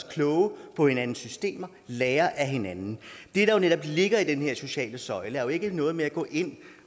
klogere på hinandens systemer lære af hinanden det der netop ligger i den her sociale søjle er jo ikke noget med at gå ind